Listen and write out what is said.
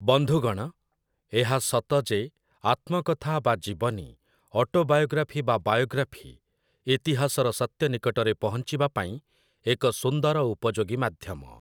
ବନ୍ଧୁଗଣ, ଏହା ସତ ଯେ ଆତ୍ମକଥା ବା ଜୀବନୀ, ଅଟୋବାୟୋଗ୍ରାଫି ବା ବାୟୋଗ୍ରାଫି, ଇତିହାସର ସତ୍ୟ ନିକଟରେ ପହଂଚିବା ପାଇଁ ଏକ ସୁନ୍ଦର ଉପଯୋଗୀ ମାଧ୍ୟମ ।